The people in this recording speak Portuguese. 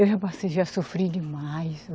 Eu já passei, já sofri demais.